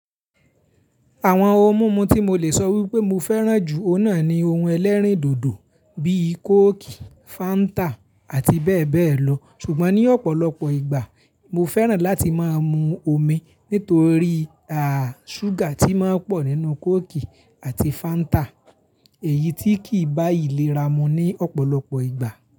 Àwọn ohun mímu tí mo le sọ wípé mo fẹ́ràn jù ọ́n náà ni ohun ẹlẹ́rìndòdò bíi kóòkì, Fáńtà àti bẹ́ẹ̀ bẹ́ẹ̀ lọ. Ṣùgbọ́n ní ọ̀pọ̀lọpọ̀ ìgbà mo fẹ́ràn láti máa mu omi nítorí à, ṣúgà tí máa ń pọ̀ nínú kóòkì àti Fáńtà èyí tí kì í bá ìlera mu ní ọ̀pọ̀lọpọ̀ ìgbà.